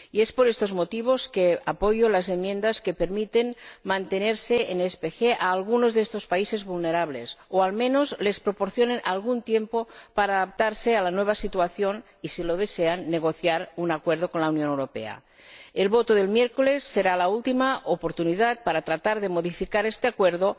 Por estos motivos apoyo las enmiendas que permiten mantenerse en el marco del SPG a algunos de estos países vulnerables o que, al menos, les proporcionan algún tiempo para adaptarse a la nueva situación y, si lo desean, negociar un acuerdo con la Unión Europea. La votación del miércoles será la última oportunidad para tratar de modificar este Acuerdo